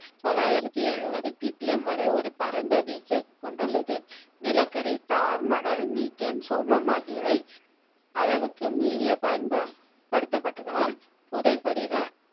தொள்ளாயிரத்தி எழுவது PPM வரை ஒரு பரந்த வீச்சை கொடுத்துள்ளது. நிலக்கரி, தார். மணல், மீத்தேன் சோமம் ஆகியவை அளவுக்கு மீறிய பயன்பா படுத்தப்படுத்தனால் புதைபடிவ